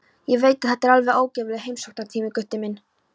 Ég veit að þetta er alveg óguðlegur heimsóknartími, Gutti minn.